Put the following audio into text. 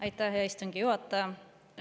Aitäh, hea istungi juhataja!